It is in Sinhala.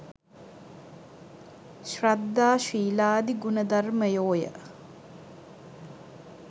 ශ්‍රද්ධා ශීලාදි ගුණධර්මයෝය.